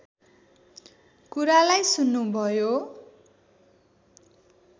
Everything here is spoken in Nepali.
कुरालाई सुन्नु भयो